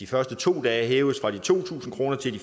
første to dage hæves det fra to tusind kroner til